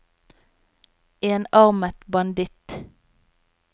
enarmet banditt